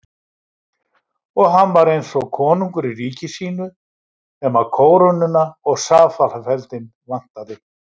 Og hann var eins og konungur í ríki sínu nema kórónuna og safalafeldinn vantaði.